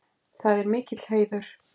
Það er mikill heiður.